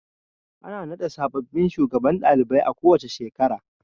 Ana naɗa sababbin shugabannin ɗalibai a kowace shekara.